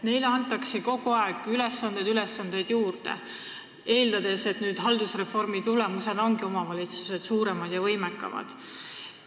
Neile antakse kogu aeg ülesandeid juurde, eeldades, et haldusreformi tulemusena on omavalitsused suuremad ja võimekamad.